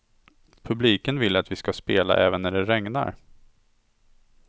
Publiken vill att vi skall spela även när det regnar.